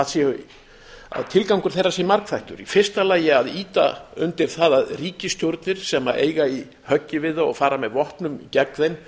líklegt að tilgangur þeirra sé margþættur í fyrsta lagi að ýta undir það að ríkisstjórnir sem eiga í höggi við þá og fara með vopnum gegn þeim